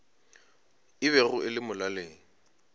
e bego e le molaleng